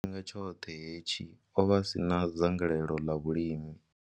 Tshifhinga tshoṱhe hetshi, o vha a si na dzangalelo ḽa vhulimi.